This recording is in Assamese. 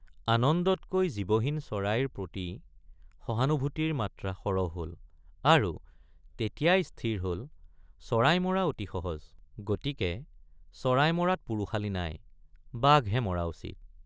আনন্দতকৈ জীৱহীন চৰাইৰ প্ৰতি সহানুভূতিৰ মাত্ৰা সৰহ হল আৰু তেতিয়াই স্থিৰ হল চৰাই মৰা অতি সহজ গতিকে চৰাই মৰাত পুৰুষালি নাই বাঘহে মৰা উচিত।